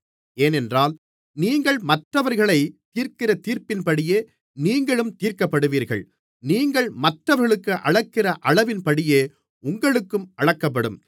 ஏனென்றால் நீங்கள் மற்றவர்களைத் தீர்க்கிற தீர்ப்பின்படியே நீங்களும் தீர்க்கப்படுவீர்கள் நீங்கள் மற்றவர்களுக்கு அளக்கிற அளவின்படியே உங்களுக்கும் அளக்கப்படும்